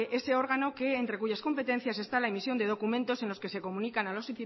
ese órgano entre cuyas competencias está la emisión de documentos en los que se comunican a los